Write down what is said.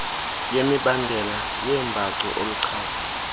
yemibandela yeembacu oluchaza